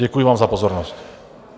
Děkuji vám za pozornost.